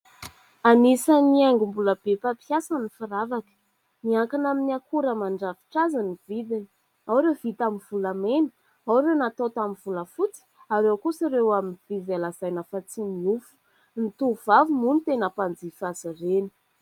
Anisan'ny haingo mbola be mpampiasa ny firavaka. Miankina amin'ny akora mandrafitra azy ny vidiny : ao ireo vita amin'ny volamena, ao ireo natao tamin'ny volafotsy, ary ao kosa ireo amin'ny vy izay lazaina fa tsy miofo. Ny tovovavy moa no tena mpanjifa azy ireny.